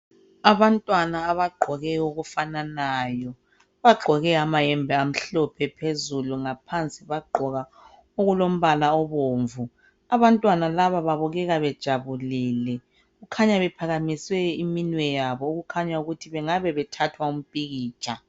Abantwana abagqoke okufananayo, bagqoke amayembe amhlophe phezulu ngaphansi bagqoka okulombala obomvu abantwana laba babukeka bejabulile kukhanya bephakamise iminwe yabo okukhanya ukuthi bengabe bethathwa impikitsha.